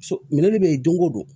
So minɛn bɛ yen don ko don